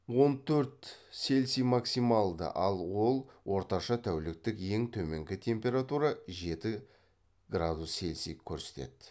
он төрт цельсий максималды ал ол орташа тәуліктік ең төменгі температура жеті градус цельсий көрсетеді